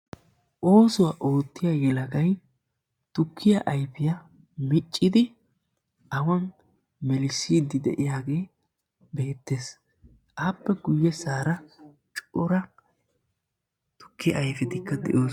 Oosuwaa ootiyaa yelagay tukkiyaa ayfiyaa miccidi awan melissidi de'iyaage beettes; appe guyyeessara cora tukkiya ayfetikka de'oosona